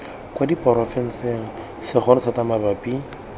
kwa diporofenseng segolo thata mabapi